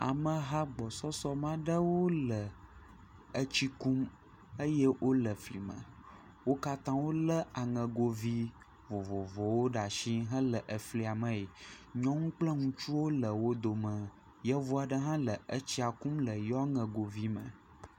Ameha gbɔsɔsɔ ma ɖewo le etsi kum eye wole fli me. Wo katã wòle aŋɛgo vi vovovowo ɖe asi hele afli me. Nyɔnu kple ŋutsuwo le wò dome. Yevu aɖe hã le etsi kum le yewoa aŋɛgovi me.